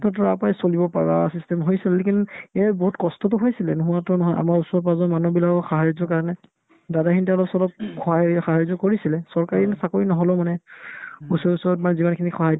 to তই তাৰ পৰাই চলিব পাৰা system হৈছিল lekin এই বহুত কষ্টতো হৈছিলে নোহোৱাতো নহয় আমাৰ ওচৰ-পাজৰৰ মানুহবিলাকক সাহাৰ্য্যৰ কাৰণে দাদাখিনি তে অলপ-চলপ সহায় হেৰি সাহাৰ্য্য কৰিছিলে চৰকাৰী চাকৰি নহ'লেও মানে ওচে ওচৰত মানে যিমানখিনি সাধ্য